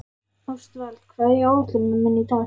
Ástvald, hvað er á áætluninni minni í dag?